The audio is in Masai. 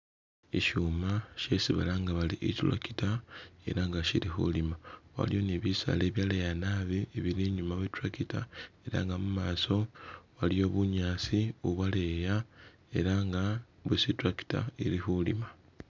Shishuma shisi balanga bari i'tractor ela nga shili khulima, waliyo ni bisaala ibyaleya nabi ibili inyuma we tractor ela nga mumaso waliyo bunyaasi bubwaleya ela nga bwisi i'tractor ili khulima